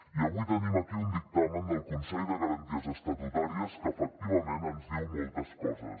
i avui tenim aquí un dictamen del consell de garanties estatutàries que efectivament ens diu moltes coses